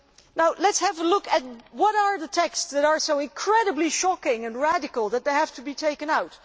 Now let us have a look at the texts that are so incredibly shocking and radical that they have to be taken out.